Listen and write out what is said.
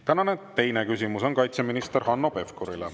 Tänane teine küsimus on kaitseminister Hanno Pevkurile.